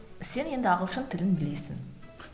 сен енді ағылшын тілін білесің